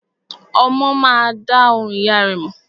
Ọmọ má a dá ohùn ìyá rẹ̀ mọ̀.